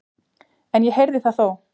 En ég heyrði það þó.